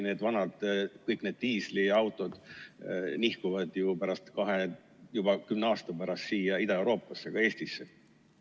Sest pealegi kõik need vanad diisliautod nihkuvad ju juba kümne aasta pärast siia Ida‑Euroopasse, ka Eestisse.